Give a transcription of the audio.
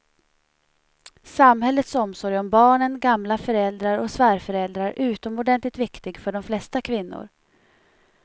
Samhällets omsorg om barnen, gamla föräldrar och svärföräldrar är utomordentligt viktig för de flesta kvinnor.